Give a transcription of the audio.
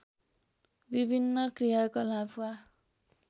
विभिन्न क्रियाकलाप वा